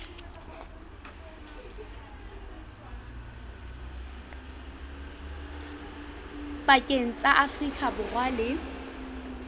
pakeng tsa afrika borwa le